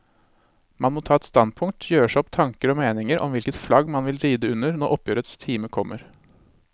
Man må ta et standpunkt, gjøre seg opp tanker og meninger om hvilket flagg man vil ride under når oppgjørets time kommer.